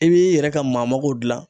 I b'i yɛrɛ ka maamaw jilan.